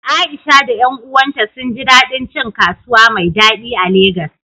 Aisha da ƴan uwanta sun ji daɗin cin kasuwa mai daɗi a Legas.